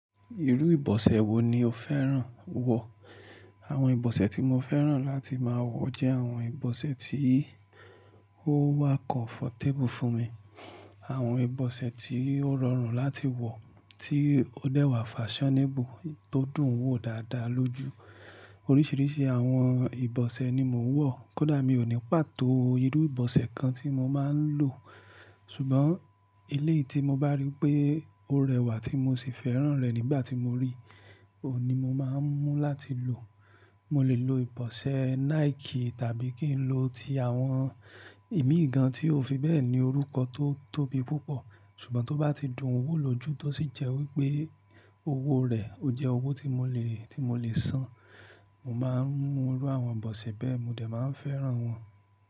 Irú ìbọ̀sẹ̀ wo ni o fẹ́ràn wọ̀? Àwọn ìbọ̀sẹ̀ tí mo fẹ́ràn láti máa wọ jẹ́ àwọn ìbọ̀sẹ̀ tí ó wà comfortable fún mi, àwọn ìbọ̀sẹ̀ tí ó rọrùn láti wọ̀, tí ó dẹ́wà fashionable, tó dùn wó dáadáa lójú. Oríṣìíríṣìí àwọn ìbọ̀sẹ̀ ni mo ń wọ̀, kódà mi ò ní pàtó irú ìbọ̀sẹ̀ kan tí mo máa ń lò. Ṣùgbọ́n eleyii tí mo bá rí pé ó rẹwà tí mo sì fẹ́ràn rẹ̀ nígbà tí mo rí, òun ni mo máa ń mú láti lò. Mo lè lo ìbọ̀sẹ̀ Nike tàbí kí n lo ti àwọn ìmíìgan tí ó fi bẹ́ẹ̀ ni orúkọ tó tóbi púpọ̀. Ṣùgbọ́n tó bá ti dùn wó lójú tó sì jẹ́ wípé owó rẹ̀ ó jẹ́ owó tí mo lè, tí mo lè san, mo máa ń mu irú àwọn ìbọ̀sẹ̀ bẹ́ẹ̀, mo dẹ̀ máa ń fẹ́ràn wọn.